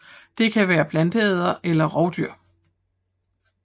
Det kan være planteædere eller rovdyr